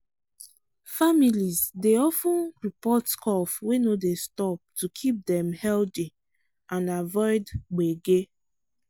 families dey of ten report cough wey no dey stop to keep dem healthy and avoid gbege.